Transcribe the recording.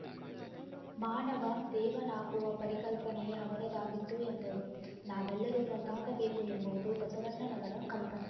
ಮಾನವ ದೇವನಾಗುವ ಪರಿಕಲ್ಪನೆ ಅವರದ್ದಾಗಿತ್ತು ಎಂದರು ನಾವೆಲ್ಲರೂ ಒಂದಾಗಬೇಕು ಎಂಬುವುದು ಬಸವಣ್ಣನವರ ಕಲ್ಪನೆ